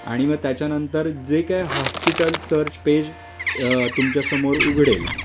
आणि म त्याच्यानंतर जे काही हॉस्पिटल सर्च पेज तुमच्यासमोर उघडेल